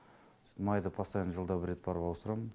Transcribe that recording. со майды постоянно жылда бір рет барып ауыстырамын